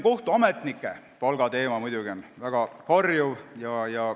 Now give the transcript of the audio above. Kohtuametnike palga teema on muidugi karjuv.